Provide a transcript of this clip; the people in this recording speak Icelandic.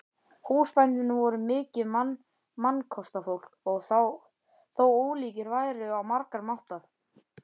Húsbændurnir voru mikið mannkostafólk þó ólíkir væru á margan máta.